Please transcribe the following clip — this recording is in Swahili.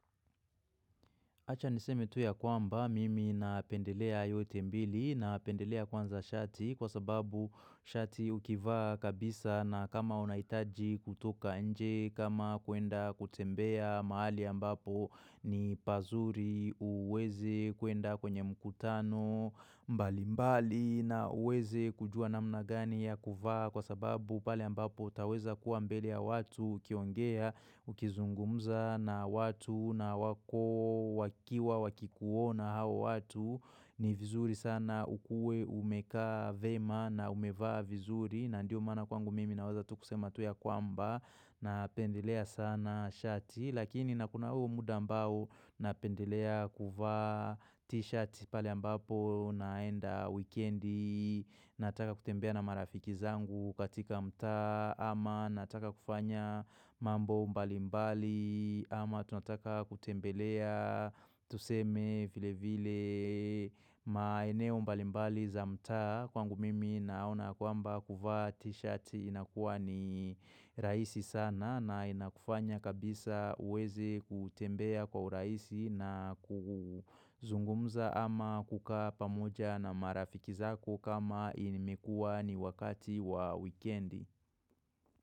Acha niseme tu ya kwamba mimi napendelea yote mbili napendelea kwanza shati kwa sababu shati ukivaa kabisa na kama unahitaji kutoka nje kama kuenda kutembea mahali ambapo ni pazuri uweze kuenda kwenye mkutano mbalimbali na uweze kujua namna gani ya kuvaa kwa sababu pale ambapo utaweza kuwa mbele ya watu ukiongea ukizungumza na watu na wako wakiwa wakikuona hawa watu ni vizuri sana ukue umekaa vema na umevaa vizuri na ndio maana kwangu mimi na weza tu kusema tu ya kwamba napendelea sana shati lakini na kuna huo muda ambao napendelea kuvaa t-shirt pale ambapo naenda wikendi nataka kutembea na marafiki zangu katika mtaa ama nataka kufanya mambo mbali mbali ama tunataka kutembelea Tuseme vile vile maeneo mbalimbali za mtaa kwangu mimi naona kwamba kuvaa t-shirt inakuwa ni rahisi sana na inakufanya kabisa uweze kutembea kwa urahisi na kuzungumza ama kukaa pamoja na marafiki zako kama imekua ni wakati wa wikendi.